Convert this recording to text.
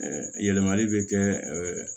yɛlɛmali bɛ kɛ